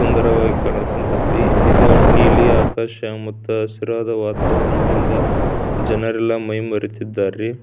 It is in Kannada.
ಸುಂದರವಾಗಿ ಕಾನೂಕ್ ಕುಂತೈತ್ರಿ ಈದ್ ನೀಲಿ ಆಕಾಶ ಮತ್ತು ಹಸಿರಾದ ವಾತಾವರಣದಿಂದ ಜನರೆಲ್ಲಾ ಮೈ ಮರೆತಿದ್ದಾರೆ ರೀ.